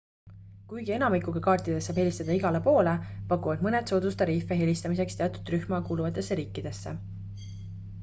kuigi enamikuga kaartidest saab helistada igale poole pakuvad mõned soodustariife helistamiseks teatud rühma kuuluvatesse riikidesse